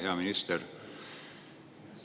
Hea minister!